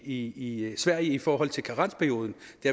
i sverige i forhold til er karensperioden